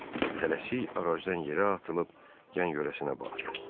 Tələsik ağacdan yerə atılıb yan-yörəsinə baxdı.